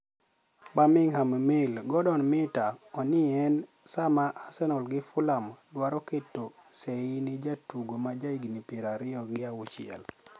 (Birminigham Mail )Gordoni - Mita oni eni Saama Arsenial gi Fulham dwaro keto sei ni e jatugo ma ja hignii piero ariyo gi auchiel.